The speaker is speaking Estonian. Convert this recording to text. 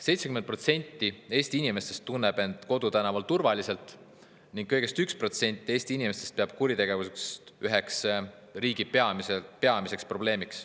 70% Eesti inimestest tunneb end kodutänaval turvaliselt ning kõigest 1% Eesti inimestest peab kuritegevust üheks riigi peamiseks probleemiks.